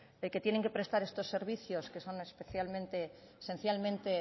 de que tienen que prestar estos servicios que son esencialmente